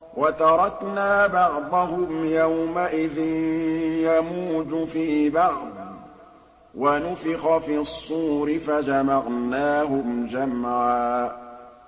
۞ وَتَرَكْنَا بَعْضَهُمْ يَوْمَئِذٍ يَمُوجُ فِي بَعْضٍ ۖ وَنُفِخَ فِي الصُّورِ فَجَمَعْنَاهُمْ جَمْعًا